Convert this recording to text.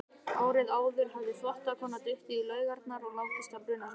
Árið áður hafði þvottakona dottið í laugarnar og látist af brunasárum.